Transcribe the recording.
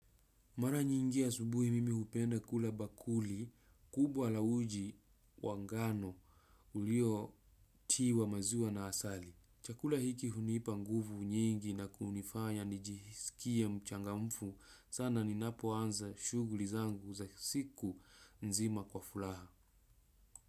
Mara nyingi asubuhi mimi upenda kula bakuli, kubwa la uji wangano ulio tiwa maziwa na asali. Chakula hiki hunipa nguvu nyingi na kunifanya nijisikie mchangamfu, sana ninapo anza shughuli zangu za siku nzima kwa furaha.